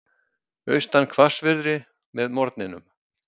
Austan hvassviðri með morgninum